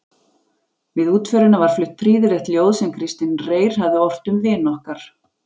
Við útförina var flutt prýðilegt ljóð sem Kristinn Reyr hafði ort um vin okkar